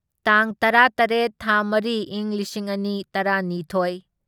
ꯇꯥꯡ ꯇꯔꯥꯇꯔꯦꯠ ꯊꯥ ꯃꯔꯤ ꯢꯪ ꯂꯤꯁꯤꯡ ꯑꯅꯤ ꯇꯔꯥꯅꯤꯊꯣꯢ